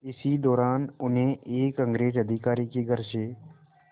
इसी दौरान उन्हें एक अंग्रेज़ अधिकारी के घर से